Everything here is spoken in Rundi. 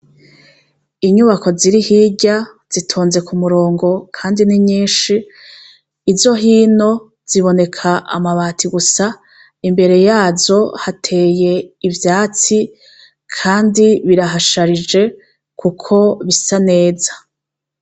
Inyubako ziri hirya zitonze ku murongo kandi ni nyinshi. Izo hino ziboneka amabati gusa imbere yazo hateye ivyatsi kandi birahasharije kuko bisa neza.